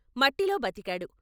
మట్టిలో బతికాడు.